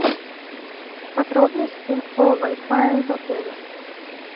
подробности о вай фае в отеле